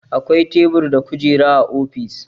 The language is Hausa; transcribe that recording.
Akwai tebur da kujera a ofis